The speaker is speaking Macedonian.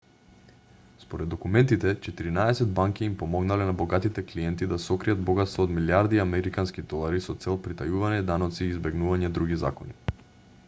според документите четиринаесет банки им помогнале на богатите клиенти да сокријат богатство од милијарди американски долари со цел притајување даноци и избегнување други закони